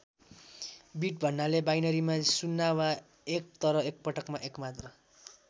Beet भन्नाले बाइनरीमा ० वा १ तर एकपटकमा एक मात्र।